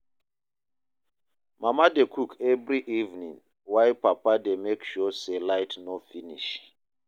Mama dey cook every evening, while Papa dey make sure say light no finish.